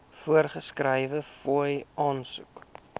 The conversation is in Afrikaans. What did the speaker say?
voorgeskrewe fooie aansoek